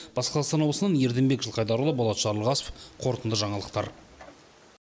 батыс қазақстан облысынан ерденбек жылқайдарұлы болат жарылғасов қорытынды жаңалықтар